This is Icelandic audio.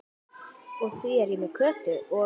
Því ég er með Kötu og